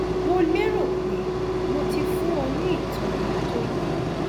mo léro pé mo ti fún ọ ní ìtọni tó yẹ